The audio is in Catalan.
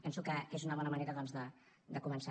penso que és una bona manera doncs de començar